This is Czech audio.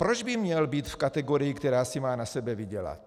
Proč by měl být v kategorii, která si má na sebe vydělat?